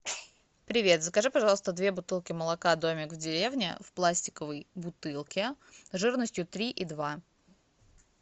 привет закажи пожалуйста две бутылки молока домик в деревне в пластиковой бутылке жирностью три и два